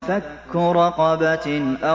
فَكُّ رَقَبَةٍ